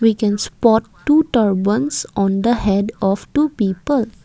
we can spot two turbans on the head of two people.